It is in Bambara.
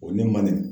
O ne man nin